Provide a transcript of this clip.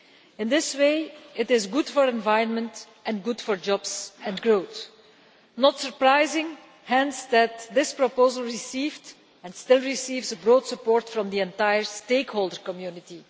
In this way, it is good for the environment and good for jobs and growth. It is thus not surprising that this proposal received and still receives broad support from the entire stakeholder community.